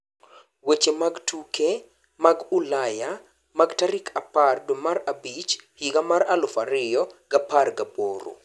Weche mag tuke mag Ulaya mag tarik apar dwee mar abich higa mar aluf ariyo gapar gaboro